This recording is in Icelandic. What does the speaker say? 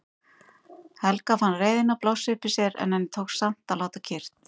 Helga fann reiðina blossa upp í sér en henni tókst samt að láta kyrrt.